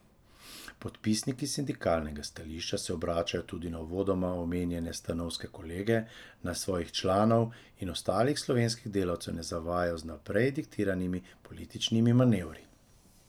Podpisniki sindikalnega stališča se obračajo tudi na uvodoma omenjene stanovske kolege, naj svojih članov in ostalih slovenskih delavcev ne zavajajo z vnaprej diktiranimi političnimi manevri.